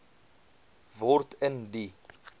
word in die